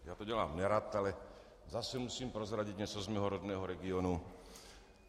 Já to dělám nerad, ale zase musím prozradit něco z mého rodného regionu.